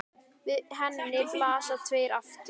Við henni blasa tveir aftur